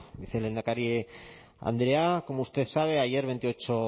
vicelehendakari andrea como usted sabe ayer veintiocho